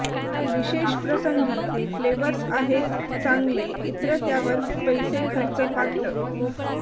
विशेष प्रसंगी ते फ्लेवर्स आहेत चांगले इत्र त्यावर पैसे खर्च पात्र